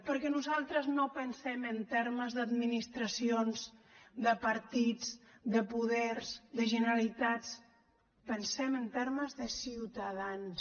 perquè nosaltres no pensem en termes d’administracions de partits de poders de generalitats pensem en termes de ciutadans